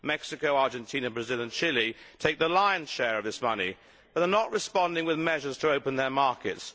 Mexico, Argentina, Brazil and Chile take the lion's share of this money but they are not responding with measures to open their markets.